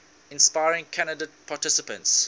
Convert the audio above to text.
inspiring candidate participants